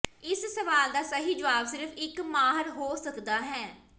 ਇਸ ਸਵਾਲ ਦਾ ਸਹੀ ਜਵਾਬ ਸਿਰਫ਼ ਇੱਕ ਮਾਹਰ ਹੋ ਸਕਦਾ ਹੈ